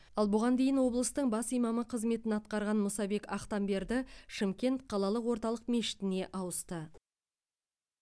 ал бұған дейін облыстың бас имамы қызметін атқарған мұсабек ақтамберді шымкент қалалық орталық мешітіне ауысты